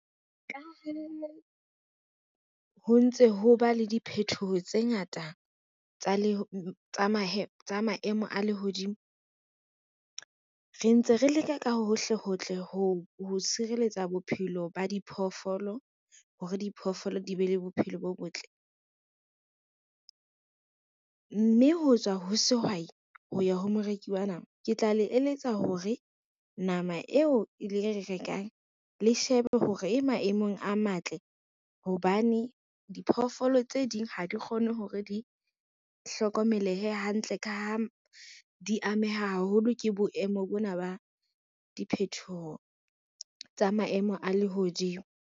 Ho ntse ho ba le diphethoho tse ngata tsa maemo a lehodimo, re ntse re leka ka hohle hohle ho tshireletsa bophelo ba diphoofolo hore diphoofolo di be le bophelo bo botle. Mme ho tswa ho sehwai ho ya ho moreki wa nama, ke tla le eletsa hore nama eo e le rekang le shebe hore e maemong a matle, hobane diphoofolo tse ding ha di kgone hore di hlokomelehe hantle ka ha di ameha haholo ke boemo bona ba diphethoho tsa maemo a lehodimo.